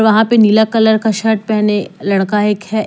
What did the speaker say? वहां पे नीला कलर का शर्ट पहने लड़का एक है।